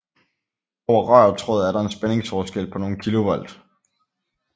Over rør og tråd er der en spændingsforskel på nogle kilovolt